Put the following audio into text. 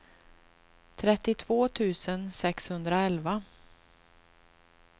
trettiotvå tusen sexhundraelva